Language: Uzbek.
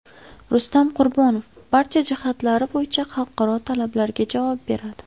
Rustam Qurbonov: Barcha jihatlari bo‘yicha xalqaro talablarga javob beradi.